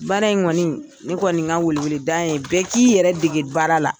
Baara in kɔn,i ne kɔni ka wele wele da ye bɛɛ k'i yɛrɛ dege baara la.